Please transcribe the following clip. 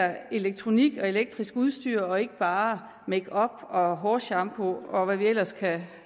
elektronik og elektrisk udstyr og ikke bare makeup og hårshampoo og hvad vi ellers kan